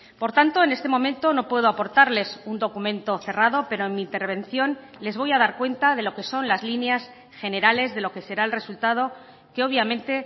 por tanto en este momento no puedo aportarles un documento cerrado pero en mi intervención les voy a dar cuenta de lo que son las líneas generales de lo que será el resultado que obviamente